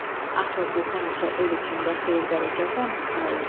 Axı bu həmişə el içində xeyir-bərəkət rəmzi sayılıb.